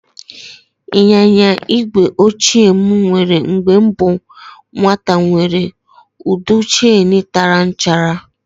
Ịnyịnya igwe ochie m nwere mgbe m bụ nwata nwèrè ụdọ cheenu tara nchara